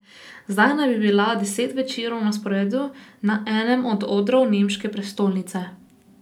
Zdaj naj bi bila deset večerov na sporedu na enem od odrov nemške prestolnice.